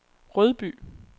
Rødby